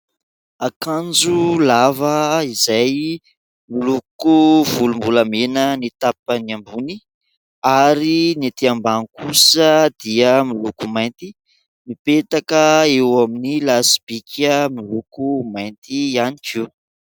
Akanjo lava izay miloko volombolamena ny tapany ambony ary ny ety ambany kosa dia miloko mainty, mipetaka eo amin'ny lasibika miloko mainty ihany koa.